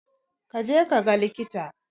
Ka je kaga likita.